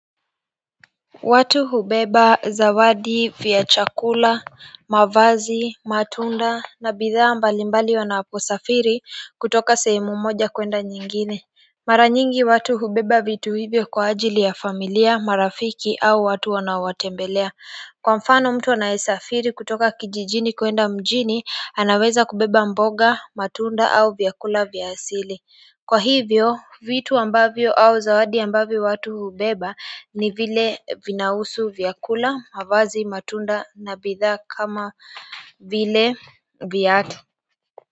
Watu hubeba zawadi vya chakula, mavazi, matunda na bidhaa mbalimbali wanaposafiri kutoka sehemu moja kuenda nyingine mara nyingi watu hubeba vitu hivyo kwa ajili ya familia, marafiki au watu wanaowatembelea kwa mfano mtu anayesafiri kutoka kijijini kuenda mjini anaweza kubeba mboga, matunda au vyakula vya asili kwa hivyo, vitu ambavyo au zawadi ambavyo watu hubeba ni vile vinahusu vyakula, mavazi, matunda na bidhaa kama vile viatu.